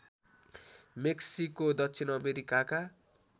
Mexico दक्षिण अमेरिकाका